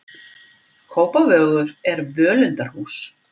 Kópavogur er völundarhús.